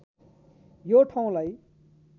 यो ठाउँलाई